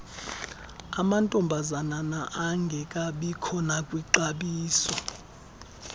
amantombazana engekabikho nakwixabiso